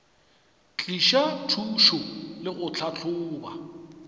tliša thušo le go tlhahloba